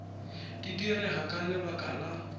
di direga ka lebaka la